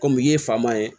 Kɔmi i ye faama ye